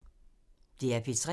DR P3